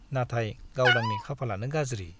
नाथाय गावदांनि खाफालानो गाज्रि।